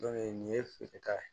nin ye feereta ye